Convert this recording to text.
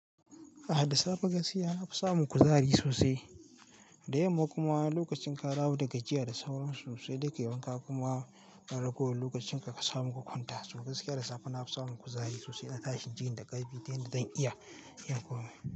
A da safe gaskiya na fi samun kuzari sosai. Da yamma kuma lokacin ka dawo da gajiya da sauransu sai da kai wana kuma ka ragowo lokacin ka, ka samu ka kwanta. So gaskiya da safe na fi samun kuzari sosai na tashi in jini da ƙarfi dai da zan iya, iya komai.